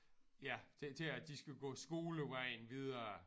Ja til til at de skal gå skolevejen videre